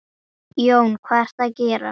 Viltu ekki fá þér mola?